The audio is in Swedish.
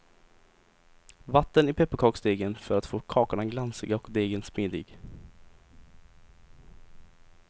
Vatten i pepparkaksdegen för att få kakorna glansiga och degen smidig.